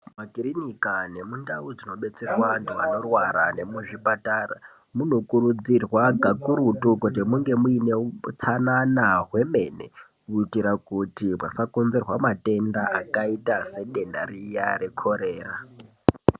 Mumakirinika nemundau munodetserwa antu anorwara nemuzvipatara munokurudzirwa pakurutu kuti munge muine utsanana hwemene kuita kuti pasakomberwa matenda akaita sedenda riya rekorera.